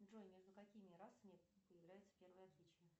джой между какими расами появляются первые отличия